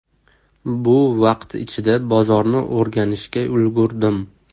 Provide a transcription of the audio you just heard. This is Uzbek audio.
Bu vaqt ichida bozorni o‘rganishga ulgurdim.